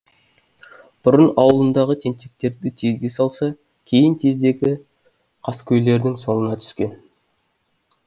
бұрын ауылындағы тентектерді тезге салса кейін қаскөйлердің соңына түскен